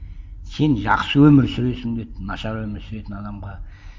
сен жақсы өмір сүресің деді нашар өмір сүретін адамға